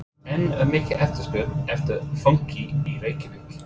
En er mikil eftirspurn eftir fönki í Reykjavík?